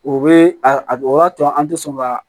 O be a o b'a to an tɛ sɔn ka